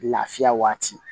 Lafiya waati